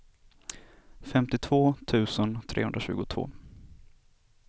femtiotvå tusen trehundratjugotvå